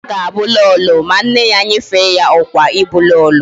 Ada ga Abu Lolo, ma nne ya nyefe ya okwa ibu lolo